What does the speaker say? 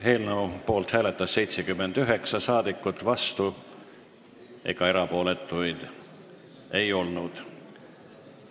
Hääletustulemused Eelnõu poolt hääletas 79 rahvasaadikut, vastuolijaid ega erapooletuid ei olnud.